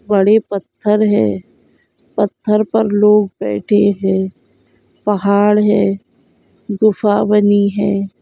बड़े पत्थर है पत्थर पर लोग बेठे है पहाड़ है गुफा